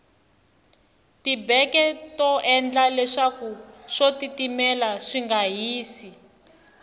tibeke to endla leswaku swo titimela swinga hisi